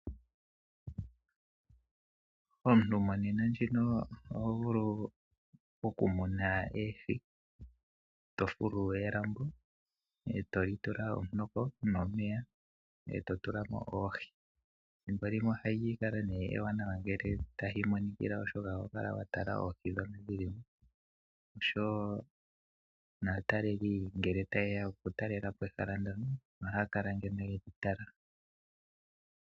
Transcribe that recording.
Omuntu monena ndjino ohovulu okumuna oohi tofulu elambo etoli tula omunoko nomeya etotulamo oohi. Thimbo limwe ohali kala nee ewanawa ngele talimonikila oshoka ohokala watala oohi dhono dhili mo. Noshowoo naataleli ngele tayeya okutalelapo ehala ndjono ohaakala ando yedhi tala.